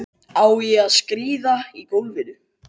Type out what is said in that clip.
Á ég að skríða í gólfinu?